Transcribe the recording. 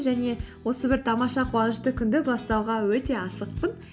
және осы бір тамаша қуанышты күнді бастауға өте асықпым